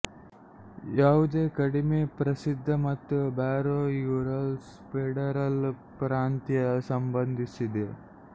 ಯಾವುದೇ ಕಡಿಮೆ ಪ್ರಸಿದ್ಧ ಮತ್ತು ಬಾರೋ ಯುರಲ್ಸ್ ಫೆಡರಲ್ ಪ್ರಾಂತ್ಯ ಸಂಬಂಧಿಸಿದ